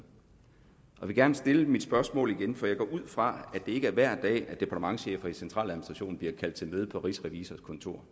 jeg vil gerne stille mit spørgsmål igen for jeg går ud fra at det ikke er hver dag departementschefer i centraladministrationen bliver kaldt til møde på rigsrevisors kontor